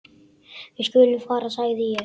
Við skulum fara sagði ég.